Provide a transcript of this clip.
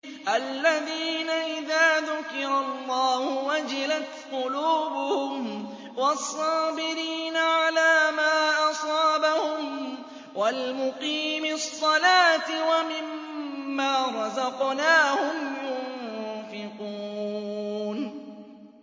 الَّذِينَ إِذَا ذُكِرَ اللَّهُ وَجِلَتْ قُلُوبُهُمْ وَالصَّابِرِينَ عَلَىٰ مَا أَصَابَهُمْ وَالْمُقِيمِي الصَّلَاةِ وَمِمَّا رَزَقْنَاهُمْ يُنفِقُونَ